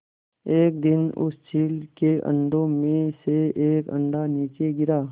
एक दिन उस चील के अंडों में से एक अंडा नीचे गिरा